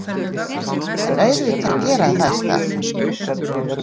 En auðvitað gera þær það.